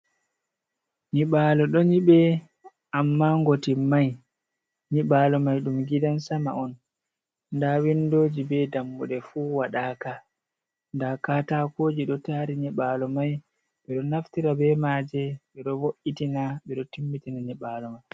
Nyiɓalo ɗo nyiɓe amma ngoti mai, nyiɓalo mai ɗum gidan sama on, nda windoji be dammuɗe fu waɗaka nda ka takoji ɗo tari nyiɓalo mai, ɓeɗo naftira be maje ɓeɗo vo’itina ɓeɗo timmitina nyiɓalo mai.